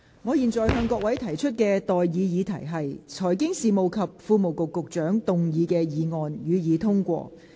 我現在向各位提出的待議議題是：財經事務及庫務局局長動議的議案，予以通過。